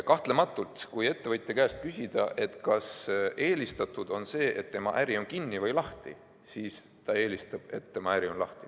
Kahtlematult, kui ettevõtja käest küsida, kas eelistatud on see, et tema äri on kinni või lahti, siis ta eelistab, et tema äri on lahti.